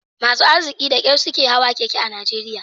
Masu arziki da kyar suke hawan keke a Najeriya